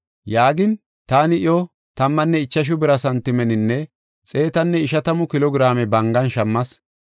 Yaagin, taani iyo tammanne ichashu bira santimeninne xeetanne ishatamu kilo giraame bangan shammas.